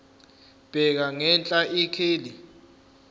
bheka ngenhla ikheli